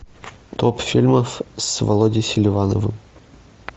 топ фильмов с володей селивановым